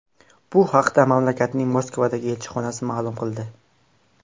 Bu haqda mamlakatning Moskvadagi elchixonasi ma’lum qildi .